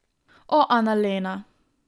O, Analena!